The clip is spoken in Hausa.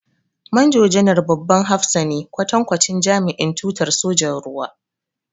Manjo-janar babban hafsa ne, kwatankwacin jami'in tutar sojan ruwa.